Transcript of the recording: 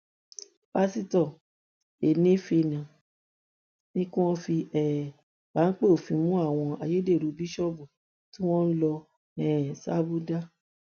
pásítọ enéphane ní kí wọn fi um páńpẹ òfin mú àwọn ayédèrú bíṣọọbù tí wọn lọ um ṣabúdá